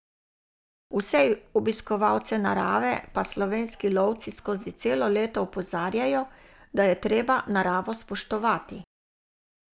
Vse obiskovalce narave pa slovenski lovci skozi celo leto opozarjajo, da je treba naravo spoštovati.